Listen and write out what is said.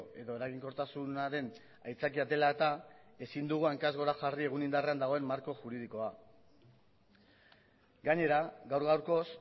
edo eraginkortasunaren aitzakia dela eta ezin dugu hankaz gora jarri egun indarrean dagoen marko juridikoa gainera gaur gaurkoz